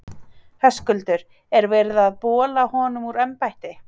Höskuldur: Er verið að bola honum úr embætti?